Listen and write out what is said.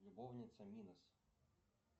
любовница минус